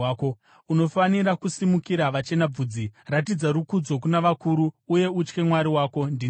“ ‘Unofanira kusimukira vachena bvudzi, ratidza rukudzo kuna vakuru uye utye Mwari wako. Ndini Jehovha.